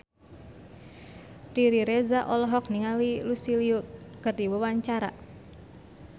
Riri Reza olohok ningali Lucy Liu keur diwawancara